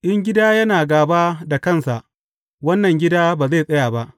In gida yana gāba da kansa, wannan gida ba zai tsaya ba.